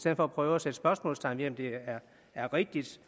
at prøve at sætte spørgsmålstegn ved om det er rigtigt